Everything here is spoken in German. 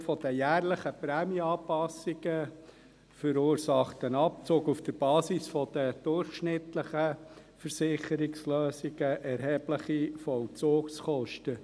Aufgrund der jährlichen Prämienanpassungen verursacht ein Abzug auf der Basis der durchschnittlichen Versicherungslösungen erhebliche Vollzugskosten.